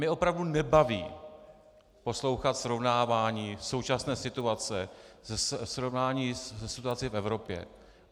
Mě opravdu nebaví poslouchat srovnávání současné situace, srovnání se situací v Evropě.